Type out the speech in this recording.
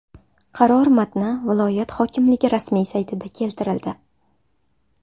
Qaror matni viloyat hokimligi rasmiy saytida keltirildi .